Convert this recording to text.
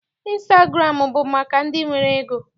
Ịnstagụramụ bụ maka ndị nwere ego.